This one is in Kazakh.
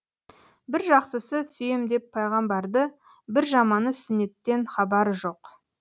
бір жақсысы сүйем деп пайғамбарды бір жаманы сүннеттен хабары жоқ